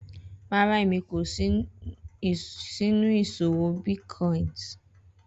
Rara Emi ko sinu iṣowo bitcoins